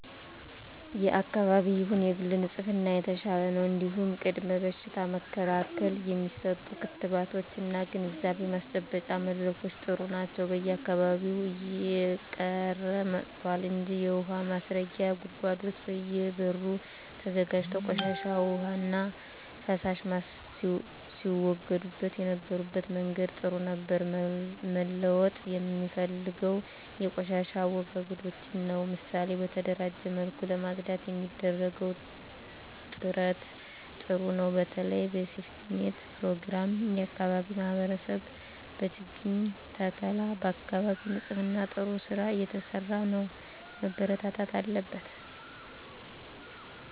የአካባቢ ይሁን የግል ንጽህና የተሻለ ነው እንዲሁም ቅድመ በሽታ መከላከል የሚሰጡ ክትባቶች እና ግንዛቤ ማስጨበጫ መድረኮች ጥሩ ናቸው በየአካባቢው እየቀረ መጥቷል እንጂ የውሀ ማስረጊያ ጉድጓዶች በየ በሩ ተዘጋጅቶ ቆሻሻ ዉሃና ፍሳሽ ሲወገድበት የነበረበት መንገድ ጥሩ ነበር መለወጥ የምፈልገው የቆሻሻ አወጋገዳችንን ነው ምሳሌ በተደራጀ መልኩ ለማፅዳት የሚደረገው ጥረት ጥሩ ነው በተለይ በሴፍትኔት ፕሮግራም የአካባቢ ማህበረሰብ በችግኝ ተከላ በአካባቢ ንፅህና ጥሩ ስራ እየተሰራ ነው መበርታት አለበት